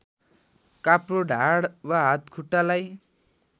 काप्रो ढाड वा हातखुट्टालाई